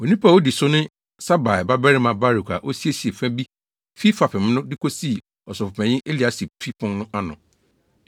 Onipa a odi so ne Sabai babarima Baruk a osiesiee fa bi fi fapem no, de kosii ɔsɔfopanyin Eliasib fi pon no ano.